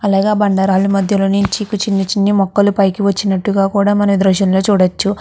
అలాగే ఆ బండ రాళ్ళు మద్యలోనుంచి చిన్ని చిన్ని మొక్కలు పైకి వచ్చిన్నట్టుగా కూడా మనం ఈ దృశ్యం లో చూడచ్చు.